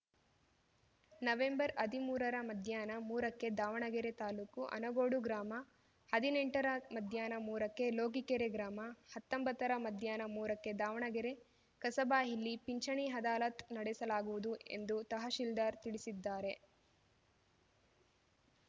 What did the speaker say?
ನವೆಂಬರ್ಹದಿಮೂರರ ಮಧ್ಯಾಹ್ನ ಮೂರಕ್ಕೆ ದಾವಣಗೆರೆ ತಾಲೂಕು ಅನಗೋಡು ಗ್ರಾಮ ಹದಿನೆಂಟರ ಮಧ್ಯಾಹ್ನ ಮೂರಕ್ಕೆ ಲೋಕಿಕೆರೆ ಗ್ರಾಮಹತ್ತೊಂಬತ್ತರ ಮಧ್ಯಾಹ್ನ ಮೂರಕ್ಕೆ ದಾವಣಗೆರೆ ಕಸಬಾ ಇಲ್ಲಿ ಪಿಂಚಣಿ ಅದಾಲತ್‌ ನಡೆಸಲಾಗುವುದು ಎಂದು ತಹಶೀಲ್ದಾರ್‌ ತಿಳಿಸಿದ್ದಾರೆ